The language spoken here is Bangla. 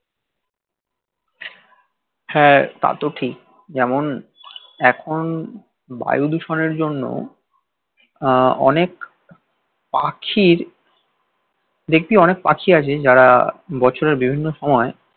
হা তা তো ঠিক যেমন এখন বায়ু দূষণের জন্যে অনেক পাখির দেখবি অনেক পাখি আছে যারা বছরে বিভিন্ন সময়